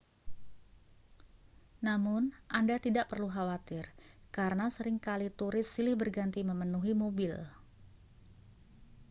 namun anda tidak perlu khawatir karena sering kali turis silih berganti memenuhi mobil